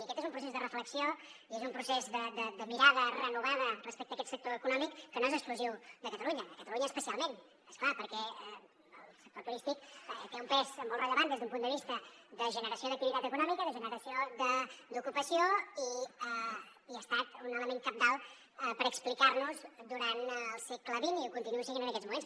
i aquest és un procés de reflexió i és un procés de mirada renovada respecte a aquest sector econòmic que no és exclusiu de catalunya a catalunya especialment és clar perquè el sector turístic té un pes molt rellevant des d’un punt de vista de generació d’activitat econòmica de generació d’ocupació i ha estat un element cabdal per explicar nos durant el segle xx i ho continua sent en aquests moments